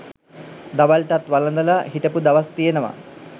දවල්ටත් වළඳලා හිටපු දවස් තියෙනවා